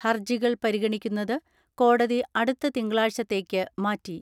ഹർജികൾ പരിഗണിക്കുന്നത് കോടതി അടുത്ത തിങ്കളാഴ്ചത്തേക്ക് മാറ്റി.